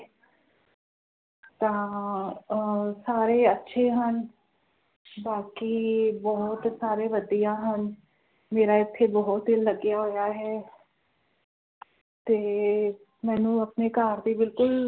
ਤਾ ਅਹ ਸਾਰੇ ਅੱਛੇ ਹਨ ਬਾਕੀ ਬੋਹੋਤ ਸਾਰੇ ਵਧੀਆ ਹਨ ਮੇਰਾ ਇਥੇ ਬੋਹੋਤ ਦਿਲ ਲੱਗਿਆ ਹੋਇਆ ਹੈ ਤੇ ਮੈਨੂੰ ਆਪਣੇ ਘਰ ਦੀ ਬਿਲਕੁਲ